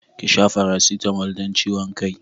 Ki sha paracetamol don ciwon kai.